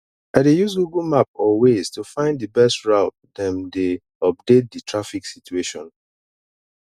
i dey use google map or waze to find di best route dem dey update di traffic situation